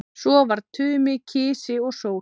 Svo var Tumi kisi og sól.